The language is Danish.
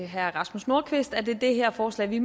herre rasmus nordqvist at det er det her forslag vi